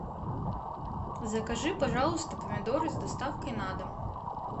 закажи пожалуйста помидоры с доставкой на дом